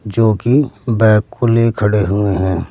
जो कि बैग को ले खड़े हुए हैं।